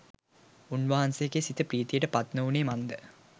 උන්වහන්සේගේ සිත ප්‍රීතියට පත් නොවුනේ මන්ද?